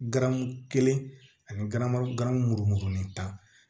Garamu kelen anira gan murumugunin ta